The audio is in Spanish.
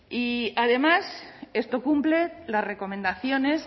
y además esto cumple las recomendaciones